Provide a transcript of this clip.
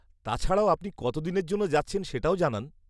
তাছাড়াও, আপনি কত দিনের জন্য যাচ্ছেন সেটাও জানান।